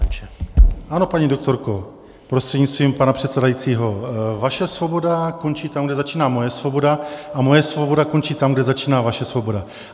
Ano, paní doktorko prostřednictvím pana předsedajícího, vaše svoboda končí tam, kde začíná moje svoboda, a moje svoboda končí tam, kde začíná vaše svoboda.